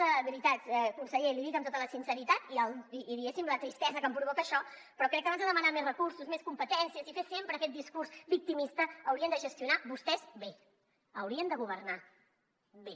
de veritat conseller l’hi dic amb tota la sinceritat i diguéssim la tristesa que em provoca això però crec que abans de demanar més recursos més competències i fer sempre aquest discurs victimista haurien de gestionar vostès bé haurien de governar bé